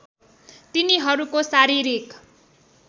तिनीहरूको शारीरिक